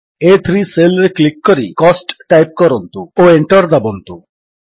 ଆ3 cell ରେ click କରି cost type କରନ୍ତୁ ଓ Enter ଦାବନ୍ତୁ